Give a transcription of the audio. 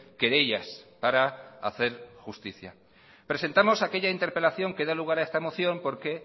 querellas para hacer justicia presentamos aquella interpelación que da lugar a esta moción porque